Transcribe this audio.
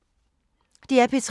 DR P3